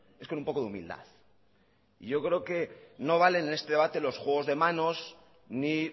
es con un poco de humildad y yo creo que no valen en este debate los juegos de manos ni